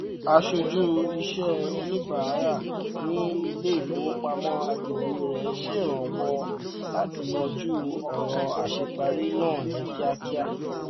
aṣojú iṣẹ oníbàárà ní iléifowopamọ àgbègbè rẹ ṣèrànwọ láti yanjú ọràn àṣẹparí náà ní kìákìá